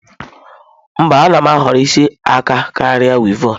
Mba, a na m ahọrọ isi aka karịa wịevọn.